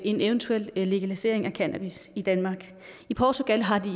en eventuel legalisering af cannabis i danmark i portugal har de